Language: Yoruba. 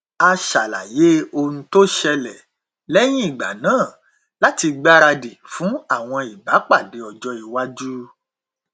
a ṣàlàyé ohun tó ṣẹlẹ lẹyìn ìgbà náà láti gbáradì fún àwọn ìbápàdé ọjọ iwájú